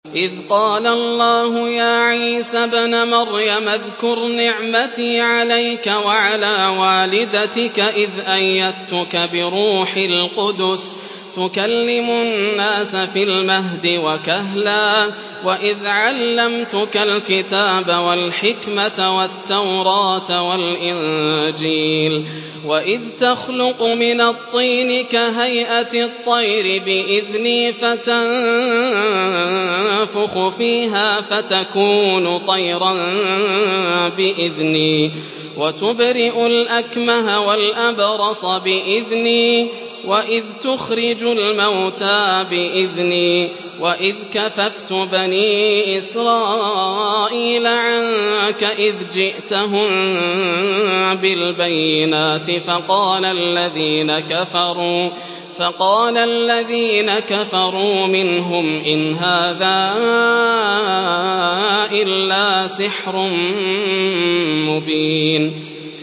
إِذْ قَالَ اللَّهُ يَا عِيسَى ابْنَ مَرْيَمَ اذْكُرْ نِعْمَتِي عَلَيْكَ وَعَلَىٰ وَالِدَتِكَ إِذْ أَيَّدتُّكَ بِرُوحِ الْقُدُسِ تُكَلِّمُ النَّاسَ فِي الْمَهْدِ وَكَهْلًا ۖ وَإِذْ عَلَّمْتُكَ الْكِتَابَ وَالْحِكْمَةَ وَالتَّوْرَاةَ وَالْإِنجِيلَ ۖ وَإِذْ تَخْلُقُ مِنَ الطِّينِ كَهَيْئَةِ الطَّيْرِ بِإِذْنِي فَتَنفُخُ فِيهَا فَتَكُونُ طَيْرًا بِإِذْنِي ۖ وَتُبْرِئُ الْأَكْمَهَ وَالْأَبْرَصَ بِإِذْنِي ۖ وَإِذْ تُخْرِجُ الْمَوْتَىٰ بِإِذْنِي ۖ وَإِذْ كَفَفْتُ بَنِي إِسْرَائِيلَ عَنكَ إِذْ جِئْتَهُم بِالْبَيِّنَاتِ فَقَالَ الَّذِينَ كَفَرُوا مِنْهُمْ إِنْ هَٰذَا إِلَّا سِحْرٌ مُّبِينٌ